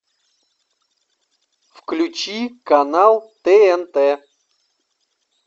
включи канал тнт